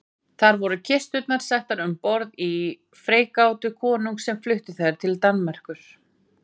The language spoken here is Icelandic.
Þar voru kisturnar settar um borð í freigátu konungs sem flutti þær til Danmerkur.